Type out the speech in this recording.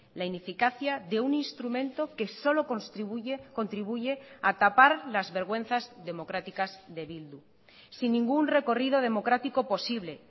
la ineficacia de un instrumento que solo contribuye a tapar las vergüenzas democráticas de bildu sin ningún recorrido democrático posible